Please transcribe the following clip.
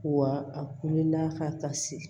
Wa a wulila ka se